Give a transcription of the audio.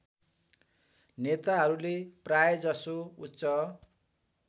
नेताहरूले प्रायजसो उच्च